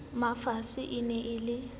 mafisa e ne e le